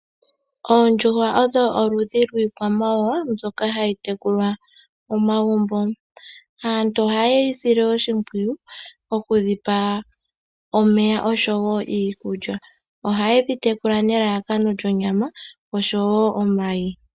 Oondjuhwa odho oludhi lwiikwamawawa mbyoka hayi tekulwa momagumbo. Aantu ohaye dhi sile oshimpwiyu okudhi pa omeya osho iikulya. Ohaye dhi tekula nelalakano lyonyama osho woo omayi.